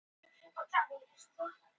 Kjaftæði? hváir Dóri.